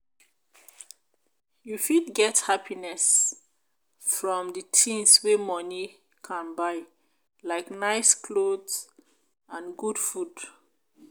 you fit get happiness from di things wey money can buy like nice clothes and good food.